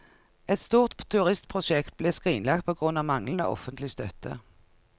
Et stort turistprosjekt ble skrinlagt på grunn av manglende offentlig støtte.